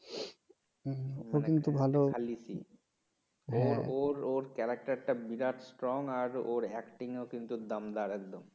ওর character টা বিরাট strong আর acting ও কিন্তু দমদার একদম